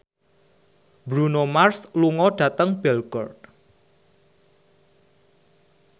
Bruno Mars lunga dhateng Belgorod